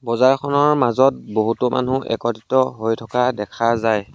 বজাৰখনৰ মাজত বহুতো মানুহ একত্ৰিত হৈ থকা দেখা যায়।